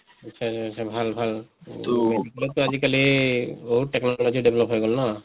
ভাল ভাল তʼ আজি কালি বহুত technology develop হৈ গʼল ন